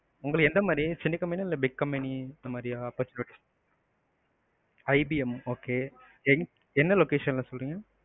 உங்களுக்கு எந்தமாதிரி சின்ன company யா, இல்ல big company அந்தமாதிரியா opportunites IBM okay என்ன location ல சொல்றிங்க?